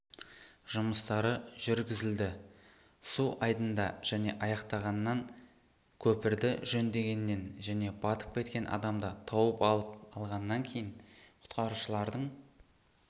жұмыстары жүргізілді суайдында және аяқтағаннан көпірді жөндегеннен және батып кеткен адамды тауып алғаннан кейін құтқарушылардың